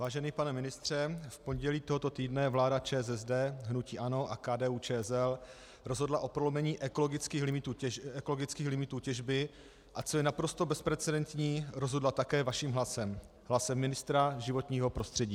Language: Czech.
Vážený pane ministře, v pondělí tohoto týdne vláda ČSSD, hnutí ANO a KDU-ČSL rozhodla o prolomení ekologických limitů těžby, a co je naprosto bezprecedentní, rozhodla také vaším hlasem, hlasem ministra životního prostředí.